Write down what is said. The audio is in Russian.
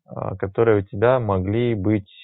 который у тебя могли быть